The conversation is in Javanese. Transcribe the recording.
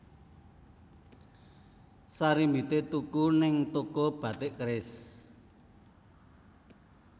Sarimbite tuku ning toko Batik Keris